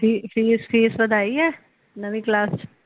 ਫੀ fees ਵਧਾਈ ਏ ਨਵੀ ਕਲਾਸ ਚ